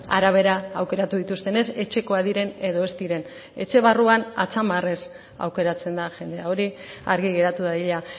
arabera aukeratu dituzten ez etxekoak diren edo ez diren etxe barruan atzamarrez aukeratzen da jendea hori argi geratu dadila